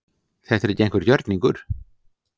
Þetta er ekki einhver gjörningur